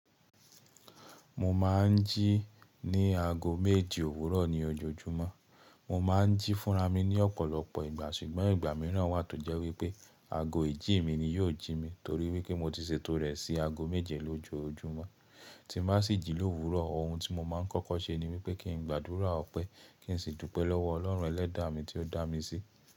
Mo ma n jí ní ago méje òwúrọ̀ ní ojoojúmọ́. Mo ma n jí fúnra mi ní ọ̀pọ̀lọpọ̀ ìgbà ṣùgbọ́n ìgbà mìíràn wà tó jẹ́ wípé ago ìjí mi ni yóò jí mi torí wípé mo ti ṣètò rẹ̀ sí ago méje lójoojúmọ́. Tí n bá si jì lówúrọ̀ ohun tí mo máa ń kọ́kọ́ ṣe ni wípé kí n gbàdúrà ọpẹ́ kí n sì dúpẹ́ lọ́wọ́ Ọlọ́run ẹlẹ́dàá mi tí ó dá mi sí.